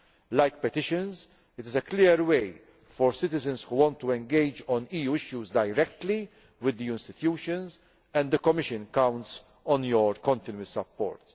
As with petitions, this is a clear way for citizens who want to engage on EU issues to do so directly with the institutions, and the Commission counts on your continuing support.